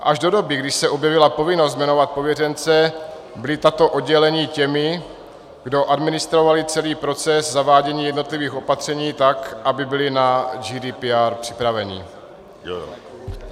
Až do doby, kdy se objevila povinnost jmenovat pověřence, byla tato oddělení těmi, kdo administroval celý proces zavádění jednotlivých opatření tak, aby byla na GDPR připravena.